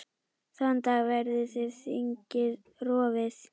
Þann dag verður þingið rofið.